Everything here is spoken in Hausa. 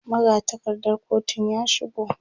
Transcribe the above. magatakardar kotun ya shigo